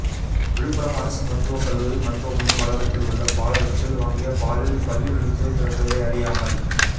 விழுப்புரம் அரசு மருத்துவக் கல்லூரி மருத்துவமனை வளாகத்தில் உள்ள பாலகத்தில் வாங்கிய பாலில் பல்லி விழுந்து கிடந்ததை அறியாமல்